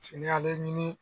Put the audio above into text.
Cɛ n ɲale ɲini.